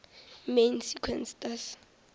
main sequence stars